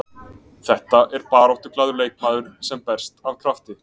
Þetta er baráttuglaður leikmaður sem berst af krafti.